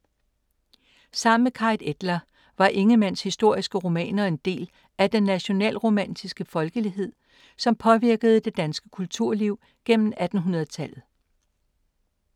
Sammen med Carit Etlar var Ingemanns historiske romaner en del af den nationalromantiske folkelighed, som påvirkede det danske kulturliv gennem 1800-tallet.